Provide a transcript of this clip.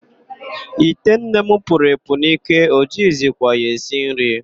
Ite nne m puru epu n'ike, o jighizikwa ya esi nri.